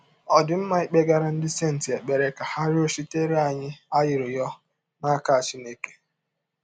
Ọ̀ dị mma ịkpegara “ ndị senti ” ekpere ka ha rịọchitere anyị arịrịọ n’aka Chineke?